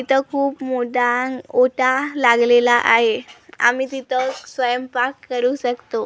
इथं खूप मोटान ओटा लागलेला आहे आम्ही तिथं स्वयंपाक करू शकतो.